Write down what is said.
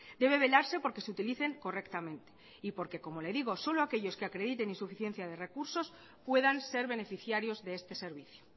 debe velarse por que se utilicen correctamente y porque como le digo solo aquellos que acrediten insuficiencia de recursos puedan ser beneficiarios de este servicio